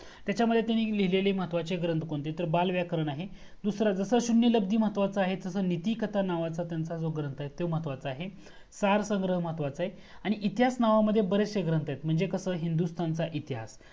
त्याच्यामध्ये तुम्ही लिहलेली महत्वाचे ग्रंथ कोणते तर बालव्याकरण आहे. दूसरा जसा शून्य लब्दी महत्वाचा आहे, तसाच त्यांचा नीतिकथान नावाचा ग्रंथ आहे, तो महत्वाचा आहे, सार्थ ग्रहा महत्वाचा आहे, आणि इतिहास नावामध्ये बरेचसे ग्रंथ आहेत. म्हणजे कसं हिंदुस्तानचा इतिहास